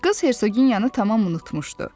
Qız Hersoginyanı tamam unutmuşdu.